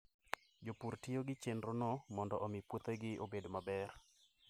Jopur tiyo gi chenrono mondo omi puothegi obed maber.